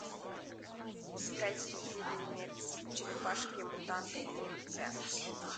искать фильмец черепашки мутанты ниндзя